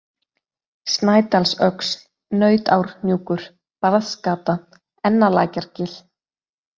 Snædalsöxl, Nautárhnjúkur, Barðsgata, Ennalækjargil